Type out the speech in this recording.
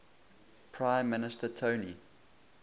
prime minister tony